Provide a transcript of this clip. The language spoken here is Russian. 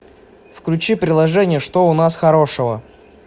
включи приложение что у нас хорошего